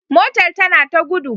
Motar tana ta gudu